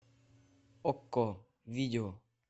окко видео